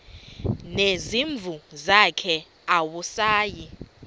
nezimvu zakhe awusayi